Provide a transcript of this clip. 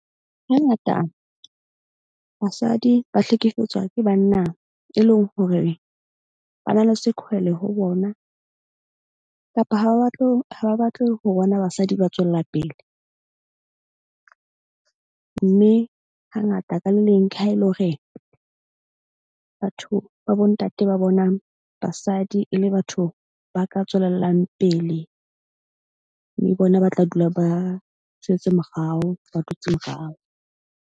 Hangata basadi ba hlekefetswa ke banna, e leng hore ba na le zikhwele ho bona kapa ha ba batle ho bona basadi ba tswella pele. Mme hangata ka le leng ke ha e le hore batho ba bontate ba bonang basadi e le batho ba ka tswelellang pele. Mme bona ba tla dula ba jwetse morao, ba dutse morao.